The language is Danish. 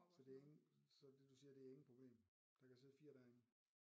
Så det er ingen så det du siger det er ingen problem der kan sidde 4 derinde